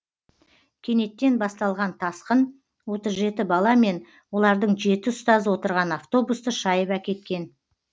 кенеттен басталған тасқын отыз жеті бала мен олардың жеті ұстазы отырған автобусты шайып әкеткен